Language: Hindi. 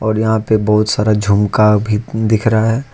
यहां पे बहुत सारा झुमका भी दिख रहा है।